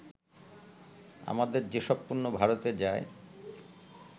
আমাদের যেসব পণ্য ভারতে যায়